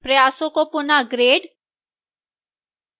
प्रयासों को पुनः regrade